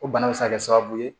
O bana bɛ se ka kɛ sababu ye